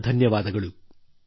ಅನಂತ ಧನ್ಯವಾದ